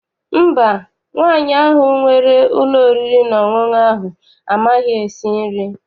Mba, nwaanyị ahụ nwere ụlọ oriri na ọṅụṅụ ahụ amaghị esi nri.